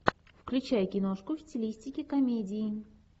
включай киношку в стилистике комедии